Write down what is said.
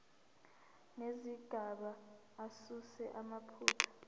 nezigaba asuse amaphutha